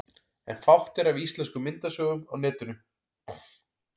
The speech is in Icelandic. En fátt er af íslenskum myndasögum á netinu.